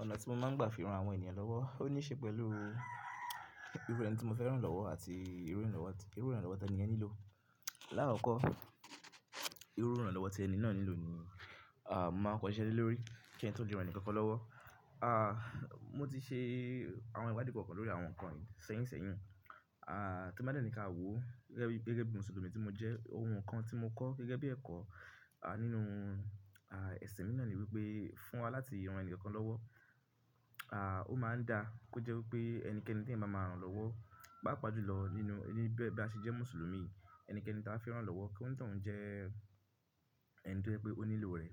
Ọ̀nà tí mo máa ń gbà fi ran àwọn ènìyàn lọ́wọ́ ó ní í ṣe pẹ̀lú irú ẹni tí mo fẹ́ rán lọ́wọ́ àti irú ìránlọ́wọ́ tí ẹni yẹn nílò. Láàkọ́kọ́, irú ìránlọ́wọ́ tí ẹni náà nílò ni, à, mo máa kọ iṣẹ́ lórí. Kín tó le ran enikankan lọ́wọ́. À, mo ti ṣe àwọn ìwadi kankan lórí àwọn nǹkan yìí sẹ́yìnsẹ́yìn. À, tí mo bá dẹ́ni káàwó gẹ́gẹ́ bí Mùsùlùmí tí mo jẹ́, ohun kan tí mo kọ́ gẹ́gẹ́ bí ẹ̀kọ́, à, nínú, à, ẹ̀sìn mi náà ni wípé fún wa láti rán ẹni kan lọ́wọ́, à, ó máa ń da kó jẹ́ wipé ẹnikẹ́ni tí ẹ̀ máa máa rán lọ́wọ́, bá pàájù lọ nínú, níbi bí a ṣe jẹ́ Mùsùlùmí, ẹnikẹ́ni tí a fẹ́ rán lọ́wọ́, kí onitan un jẹ́ ẹ̀ńi toje pé ó nílò rẹ̀.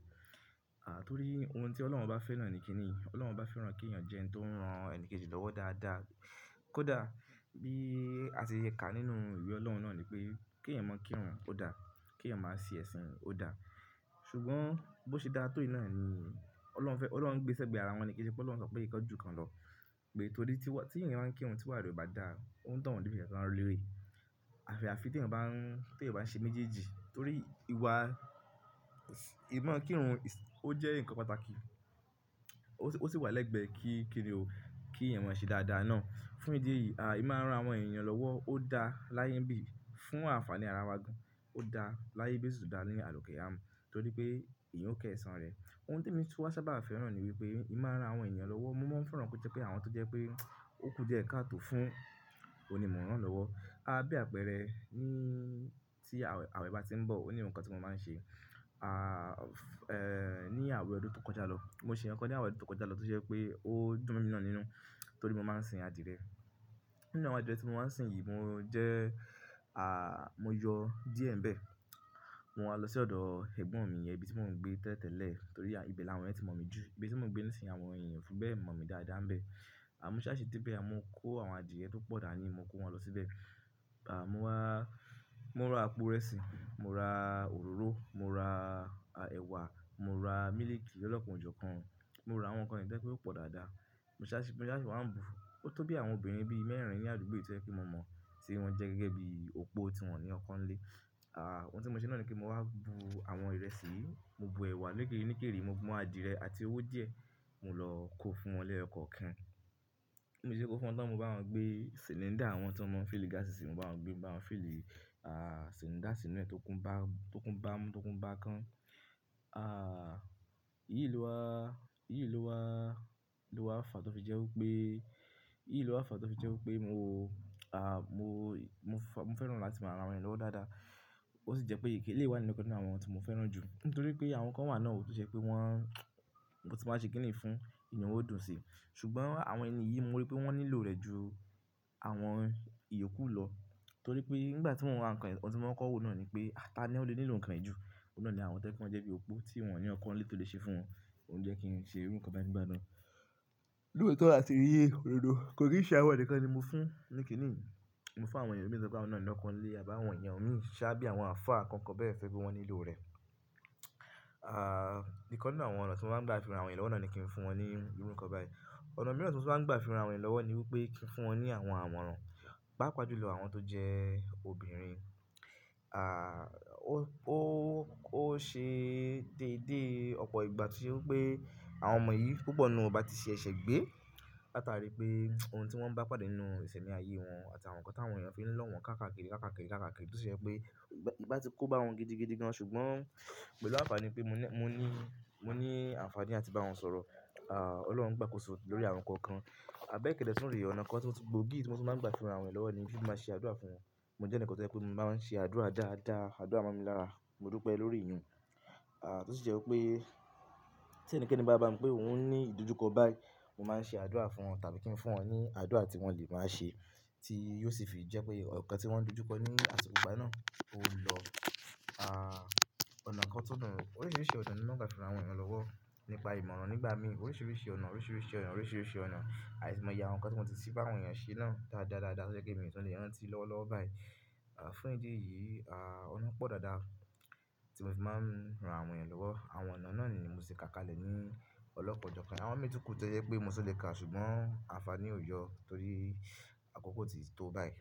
À, torí ohun tí Ọlọ́run bá fẹ́ rán ẹni kini, Ọlọ́run bá fẹ́ rán kí èèyàn jẹ́ ẹni tó ń rán ẹni kejì lọ́wọ́ dáadáa, kó dà bí a ṣe kà nínú ìwé Ọlọ́run náà ni pé kí ẹ̀yàn mọ̀ kírun ó dà, kí ẹ̀yàn máa ṣe ẹ̀sìn ó dà. Ṣùgbọ́n bó ṣe dá tó ìná ni Ọlọ́run fẹ́, Ọlọ́run ń gbéṣẹ́ gbé ara wọn ní kí ṣe pé Ọlọ́run sọ pé ìkan ju kan lọ. Pé torí tí wa, tí èèyàn baa ń kírun tí wààáre kobá dà, òun tàn án bí iṣẹ́ tí wọn ń rí lérè. Àyafi tí èèyàn bá ń, tí èèyàn bá ṣe méjèèjì torí ìwà, ìmọ̀ kírun ó jẹ́ nǹkan pàtàkì, ó sì wà lẹ́gbẹ́ kí kíni o, kí ẹ̀yàn máa ṣe dáadáa náà. Fún ìdí èyí, à, emi ran àwọn ènìyàn lọ́wọ́ ó dá láyé ń bí fún àǹfàní ara wa. Ó dá láyé bosi se dá ni àlikiamo torí pé èèyàn ó ko ẹ̀san rẹ̀. Ohun tí èmi tú wá sábà fẹ́ rán ni wípé ìmára àwọn ènìyàn lọ́wọ́, mo máa ń fẹ́ rán kó jẹ́ pé àwọn tó jẹ́ pé òkú di e kató fún, ohun ni mo rán lọ́wọ́. Àbe àpẹẹrẹ ní tí àwẹ̀ bá ti ń bọ̀, òní ohun kan tí mo máa ń ṣe. À, ẹ́, ní àwẹ̀ ọdún tó kọjá lọ, mo ṣe nǹkan ní àwẹ̀ ọdún tó kọjá lọ tó ṣe pé ó dùn mí náà nínú torí mo máa ń sìn adìẹ. Nínú àwọn adìẹ tí mo máa ń sìn yìí mo jẹ́, à, mo yọ díẹ̀ ń bẹ. Mo wa lọ sí ọ̀dọ̀ ẹ̀gbọ́n mi yẹn ibi tí mò ń gbé tẹ́tẹ́lẹ̀ torí ibi làwọn ẹni tí mọ̀ mí jù. Ibi tí mò ń gbé nísìnyí àwọn ènìyàn fún bẹ́ẹ̀ mọ̀ mí dáadáa ń bẹ. A mú ṣáásí dé ibẹ̀, mo kó àwọn adìẹ púpọ̀ dà ní, mo kó wọn lọ síbẹ̀. À, mo wá, mo ra apó ìrẹsì, mo ra òróró, mo ra ẹ̀wà, mo ra mílíkì lolo kan ọjọ́ kan, mo ra àwọn nǹkan ní yi toje pé ó pọ̀ dáadáa. Mo ṣáásí, mo ṣáásí wá ń bu. Ó tó bí àwọn obìnrin ibi mẹ́rin ni àdúgbò yìí tí ó ṣe pé mo mọ̀ tí wọ́n jẹ́ gẹ́gẹ́ bí òpó tí wọ̀n ní ọko nile. À, ohun tí mo ṣe náà ni kí mo wá bu àwọn ìrẹsì yìí, mo bu ẹ̀wà lége nígèrè, mo bu àdìrẹ àti owó díẹ̀, mo lọ kó fún wọn leyo ko kan. Mo ṣe kó fún wọn tán mo bá wọn gbé sìlíńdà àwọn tí wọ́n máa ń fìlí gáàsì sí, mo bá wọn gbé, bá wọn fìlí, à, sìlíńdà sì inú ẹ tó kún bá, tó kún bá mu, tó kún bá kan. À, iyì ló wá, iyì ló wá, ló wá fà tó fi jẹ́ wípé, iyì ló wá fà tó fi jẹ́ wípé mo, à, mo, mo fẹ́ rán láti máa ra àwọn ènìyàn lọ́wọ́ dáadáa. Ó sì jẹ́ pé èyíké ilé wa ni nǹkan nínú àwọn tí mo fẹ́ rán ju nítorí pé àwọn kan wà náà ò tó ṣe pé wọ́n, mo ti máa ṣe kìíní fún, inú won yi ó dùn si. Ṣùgbọ́n àwọn ènìyí mo rí pé wọ́n nílò rẹ̀ ju àwọn ìyókù lọ torí pé nígbà tí wọ́n wá nǹkan, ohun tí wọ́n kọ́wó náà ni pé ata ni ó lè nílò kàn ẹ́ jù. Òun náà ni àwọn tẹ́ ẹ kí wọn jẹ́ bí òpó tí wọ̀n ní ọko nle tole se fún wọn. Òun jẹ́ kí n ṣe irú nǹkan báyìí nígbà na lóòótọ́ a ti ni ododo. Kò kin ṣẹ́ àwọn nìkan ni mo fún ní kìíní. Mo fún àwọn ènìyàn mi toje wípé àwọn na ní ọko nle àbí àwọn eeyan mi ṣá bí àwọn afa kan kan bẹ́ẹ̀ to ripe wọ́n nílò rẹ̀. À, nǹkan nínú àwọn ọ̀nà tí mo máa ń gbà fi ran àwọn ènìyàn lọ́wọ́ náà ni kí n fún wọn ní irú nǹkan báyìí. Ọ̀nà mìíràn tí mo sì máa ń gbà fi ran àwọn ènìyàn lọ́wọ́ ni wípé kí n fún wọn ní àwọn àmọ̀ran. Pa pàájù lọ àwọn tó jẹ́ obìnrin. À, ó, ó ṣe déédé ọ̀pọ̀ ìgbà to se wípé pé àwọn ọmọ yìí púpọ̀ ni wọ́n bá ti ṣe ẹ̀ṣẹ̀ gbé látàrí pé ohun tí wọ́n bá pàdé nínú ìṣẹ̀mí ayé wọn àti àwọn nǹkan tí àwọn ènìyàn fi ń lọ́ wọn káàkiri káàkiri káàkiri tó si jepé kò bá wọn gidigidi gan ṣùgbọ́n pẹ̀lú àǹfàní pé mo ní, mo ní, mo ní àǹfàní láti bá wọn sọ̀rọ̀, à, Ọlọ́run gbà kó sùn lórí àwọn nǹkan kan. Àbẹ́ kẹ̀dẹ́ súnre ọ̀nà kan tí mo sì gbòógì tí mo sì máa ń gbà fi ran àwọn ènìyàn lọ́wọ́ ni bí mo ṣe máa ń ṣe àdúrà fún wọn. Mo jẹ́ ẹni kan tó jẹ́ pé mo máa ń ṣe àdúrà dáadáa, àdúrà máa ń mi lára, mo dú pé lórí ìyún. À, tó sì jẹ́ wípé tí ẹnikẹ́ni bá bá mi pé òun ní ìdójúkọ báyìí, mo máa ń ṣe àdúrà fún wọn tàbí kí n fún wọn ní àdúrà tí wọ́n lè máa ṣe tí yóò sì fi jẹ́ pé ọ̀kan tí wọ́n dojúkọ ní àsìkò ìgbà náà ó lọ. À, ọ̀nà kan tọ́nà, oríṣìíríṣìí ọ̀nà ni mo máa ń gbà fi ran àwọn ènìyàn lọ́wọ́ nípa ìmọ̀ràn nígbà mí. Oríṣìíríṣìí ọ̀nà, oríṣìíríṣìí ọ̀nà, oríṣìíríṣìí ọ̀nà, aimoye àwọn nǹkan tí mo ti ṣe bá àwọn ènìyàn ṣe náà dáadáa dáadáa tó jepe mo tún lè rán tí lọ lọ́wọ́ báyìí. Fún ìdí èyí, ọ̀nà pọ̀ dáadáa tí mo fi máa ń ran àwọn ènìyàn lọ́wọ́. Àwọn ọ̀nà náà ni mo sì tí ká kalẹ̀ nii ọlọ́kan ó jọ̀kan. Àwọn ìmí tún kù tó jẹ́ wípé mo tún le ka. Ṣùgbọ́n àǹfààní ó yọ, torí àkókò tí tó báyìí.